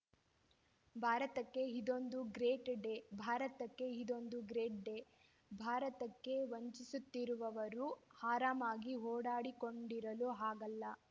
ಭಾರತಕ್ಕೆ ಇದೊಂದು great day ಭಾರತದಕ್ಕೆ ಇದೊಂದು ಗ್ರೇಟ್‌ ಡೇ ಭಾರತಕ್ಕೆ ವಂಚಿಸುತ್ತಿರುವವರು ಆರಾಮವಾಗಿ ಓಡಾಡಿಕೊಂಡಿರಲು ಆಗಲ್ಲ